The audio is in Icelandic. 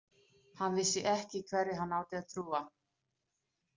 Hann vissi ekki hverju hann átti að trúa.